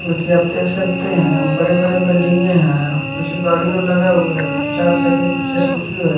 वैसे आप देख सकते हैं हम बड़े बड़े बिल्डिंग हैं कुछ गाड़ियों लगे हुए हैं कुछ चार चक्के के कुछ स्कूटी है।